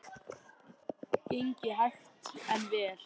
Gengið hægt en vel